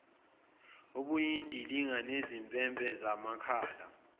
obuyindilinga nezimpempe zamakhala